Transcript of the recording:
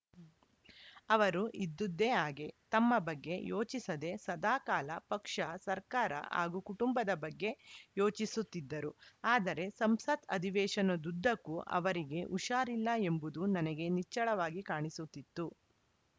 ಅವರು ಇದ್ದುದೇ ಹಾಗೆ ತಮ್ಮ ಬಗ್ಗೆ ಯೋಚಿಸದೆ ಸದಾಕಾಲ ಪಕ್ಷ ಸರ್ಕಾರ ಹಾಗೂ ಕುಟುಂಬದ ಬಗ್ಗೆ ಯೋಚಿಸುತ್ತಿದ್ದರು ಆದರೆ ಸಂಸತ್‌ ಅಧಿವೇಶನದುದ್ದಕ್ಕೂ ಅವರಿಗೆ ಹುಷಾರಿಲ್ಲ ಎಂಬುದು ನನಗೆ ನಿಚ್ಚಳವಾಗಿ ಕಾಣಿಸುತ್ತಿತ್ತು